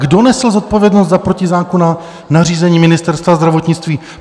Kdo nesl zodpovědnost za protizákonná nařízení Ministerstva zdravotnictví?